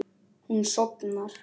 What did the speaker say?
Hún sofnar.